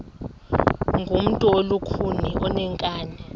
ngumntu olukhuni oneenkani